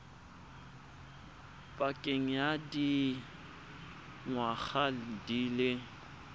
pakeng ya dingwaga di le